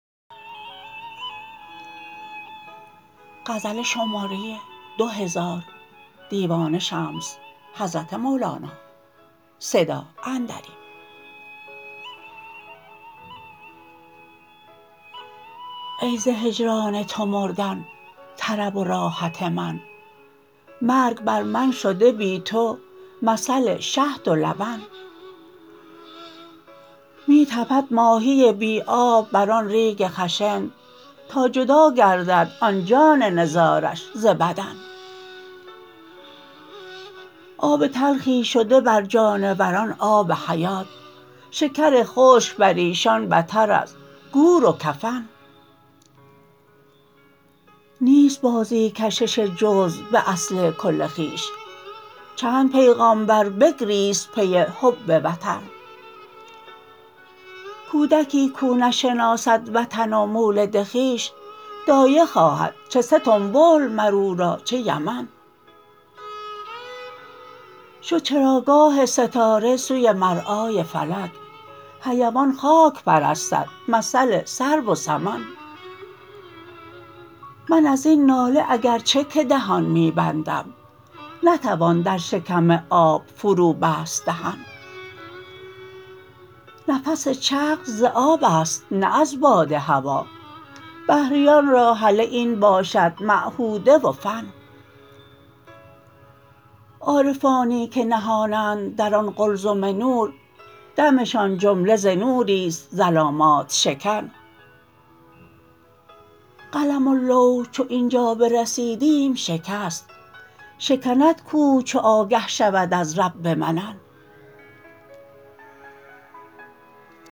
ای ز هجران تو مردن طرب و راحت من مرگ بر من شده بی تو مثل شهد و لبن می تپد ماهی بی آب بر آن ریگ خشن تا جدا گردد آن جان نزارش ز بدن آب تلخی شده بر جانوران آب حیات شکر خشک بر ایشان بتر از گور و کفن نیست بازی کشش جزو به اصل کل خویش چند پیغامبر بگریست پی حب وطن کودکی کاو نشناسد وطن و مولد خویش دایه خواهد چه ستنبول مر او را چه یمن شد چراگاه ستاره سوی مرعای فلک حیوان خاک پرستد مثل سرو و سمن من از این ناله اگر چه که دهان می بندم نتوان در شکم آب فروبست دهن نفس چغز ز آب است نه از باد هوا بحریان را هله این باشد معهوده و فن عارفانی که نهانند در آن قلزم نور دمشان جمله ز نوری است ظلامات شکن قلم و لوح چو این جا برسیدیم شکست شکند کوه چو آگه شود از رب منن